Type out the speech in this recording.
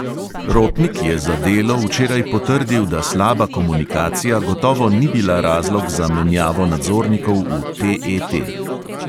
Rotnik je za delo včeraj potrdil, da slaba komunikacija gotovo ni bila razlog za menjavo nadzornikov v TET.